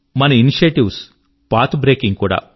మన initiatives path breaking కూడా